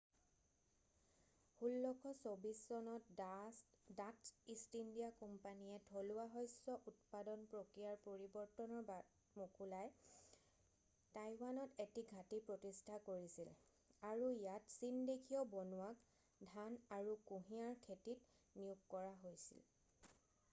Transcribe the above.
1624 চনত Dutch East India কোম্পানীয়ে থলুৱা শস্য উৎপাদন প্ৰক্ৰিয়াৰ পৰিৱৰ্তনৰ বাট মোকলাই টাইৱানত এটা ঘাটি প্ৰতিস্থা কৰিছিল আৰু ইয়াত চীনদেশীয় বনুৱাক ধান আৰু কুঁহিয়াৰ খেতিত নিয়োগ কৰা হৈছিল।